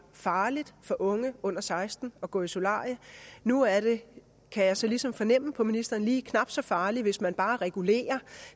farligt for unge under seksten år at gå i solarie nu er det kan jeg så ligesom fornemme på ministeren lige knap så farlig hvis man bare regulerer